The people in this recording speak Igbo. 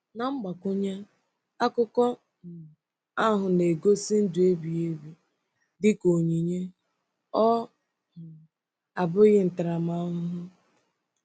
Na mgbakwunye, akụkọ um ahụ na-egosi ndụ ebighị ebi dị ka onyinye, ọ um bụghị ntaramahụhụ.